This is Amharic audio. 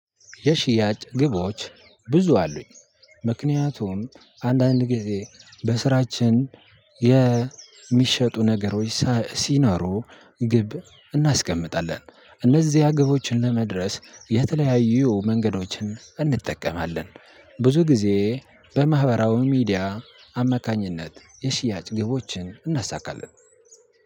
የሽያጭ ግቦች ብዙ አሉኝ ምክንያቱም አንዳንድ ጊዜ በስራችን የሚሸጡ ነገሮች ሲኖሩ ግብ እናስቀምጣለን እነዚህ ግቦችን ለመድረስ የተለያዩ መንገዶችን እንጠቀማለን። ብዙ ጊዜ በማህበራው ሚዲያ አማካኝነት የሽያጭ ግቦችን እናሳካለን።